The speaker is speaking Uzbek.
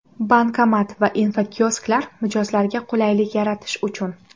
Bankomat va infokiosklar mijozlarga qulaylik yaratish uchun!.